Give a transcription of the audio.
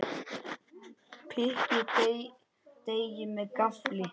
Pikkið deigið með gaffli.